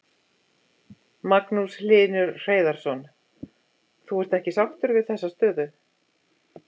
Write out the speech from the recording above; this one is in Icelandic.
Magnús Hlynur Hreiðarsson: Þú ert ekki sáttur við þessa stöðu?